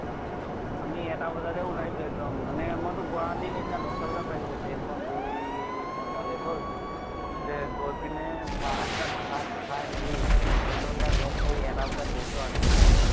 আমি এটা বজাতে ওলাইছো এক্দম মানে মইতো গুৱাহাটী সিদিনা দশ্টা বজাত পাইছোগে। train খন দুই ঘন্টা late হল। তাছ্তে গৈ পিনে বা হঁতৰ তাত ভাত খাই মেলি ইহঁতৰ গিতাক লগ কৰি এটা বজাত গৈছো আৰু ধুনীয়াকে এক্দম।